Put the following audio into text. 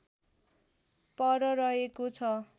पर रहेको छ